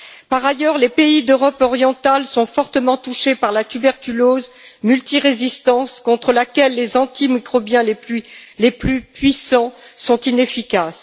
Par ailleurs, les pays d'Europe orientale sont fortement touchés par la tuberculose multirésistante, contre laquelle les antimicrobiens les plus puissants sont inefficaces.